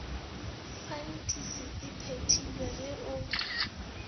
fantisi e phethilwe ge o